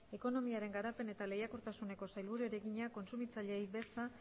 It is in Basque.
ekonomiaren garapen eta lehiakortasuneko sailburuari egina kontsumitzaileei beza